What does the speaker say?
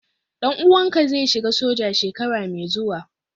dan uwanka zai shiga soja shekara mai zuwa?